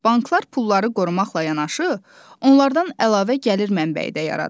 Banklar pulları qorumaqla yanaşı, onlardan əlavə gəlir mənbəyi də yaradır.